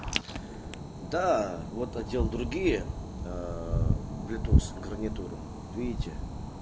да вот одел другие блютуз гарнитуру видите